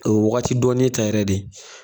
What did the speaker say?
A be Wagati dɔɔni ta yɛrɛ de